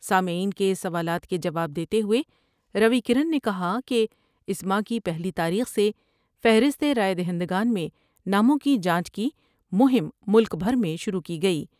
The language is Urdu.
سامعین کے سوالات کے جواب دیتے ہوۓ روی کرن نے کہا کہ اس ماہ کی پہلی تاریخ سے فہرست رائے دہندگان میں ناموں کی جانچ کی مہم ملک بھر میں شروع کی گئی ۔